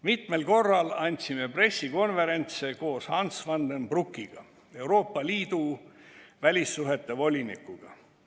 Mitmel korral andsin pressikonverentse koos Hans van den Broekiga, Euroopa Liidu välissuhete volinikuga.